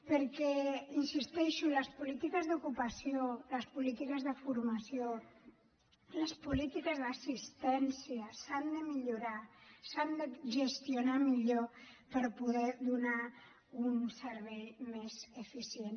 perquè hi insisteixo les polítiques d’ocupació les polítiques de formació les polítiques d’assistència s’han de millorar s’han de gestionar millor per poder donar un servei més eficient